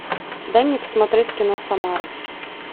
дай мне посмотреть кино самара